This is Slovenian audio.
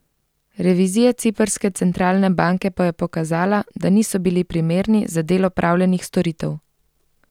Revizija ciprske centralne banke pa je pokazala, da niso bili primerni za del opravljenih storitev.